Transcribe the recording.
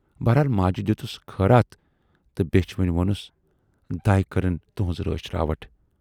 بہرحال ماجہِ دٮُ۪تُس خٲراتھ تہٕ بیچھِ وٕنۍ وونُس"دَے کٔرِن تُہٕنز رٲچھ راوَٹھ"